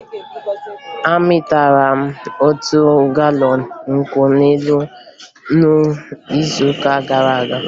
Amịtara m otu galọn nkwụ elu n'izuụka gara aga